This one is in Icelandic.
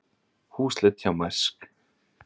Húsleit hjá Mærsk